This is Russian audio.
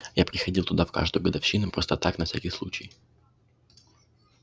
я приходил туда в каждую годовщину просто так на всякий случай